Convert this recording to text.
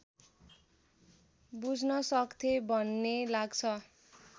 बुझ्नसक्थे भन्ने लाग्छ